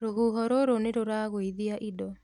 Rũhuho rũrũ nĩrũragũithia indo